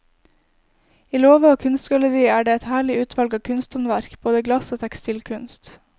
I låve og kunstgalleri er det et herlig utvalg av kunsthåndverk, både glass og tekstilkunst.